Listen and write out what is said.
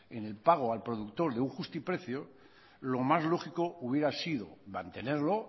en el pago al productor de un justiprecio lo más lógico hubiera sido mantenerlo